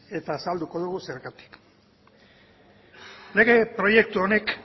eta azalduko dugu zergatik lege proiektu honek